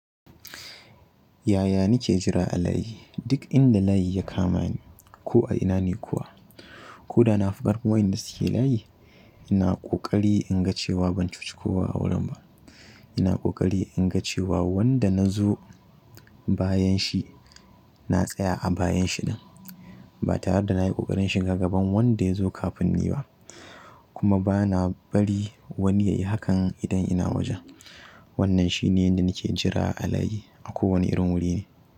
Yaya nake jira a layi? Duk inda layi ya kama ni ko a ina ne kuwa ko da na fi ƙarfin wanda suke layi, ina ƙoƙari in ga cewa ban cuci kowa a wurin ba. Ina ƙoƙari in ga cewa wanda na zo bayan shi na tsaya a bayan shi ɗin ba tare da na yi ƙoƙarin shiga gaban wanda ya zo kafin ni ba kuma ba na bari wani ya yi hakan idan ina wajen. Wannan shi ne inda nake jira a layi a kowane irin wuri ne.